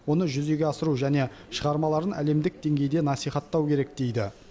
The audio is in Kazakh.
оны жүзеге асыру және шығармаларын әлемдік деңгейде насихаттау керек дейді